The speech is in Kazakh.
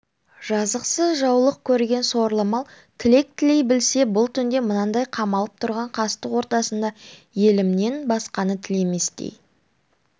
жазықсыз жаулық көрген сорлы мал тілек тілей білсе бұл түнде мынандай қамалып тұрған қастық ортасында елімнен басқаны тілеместей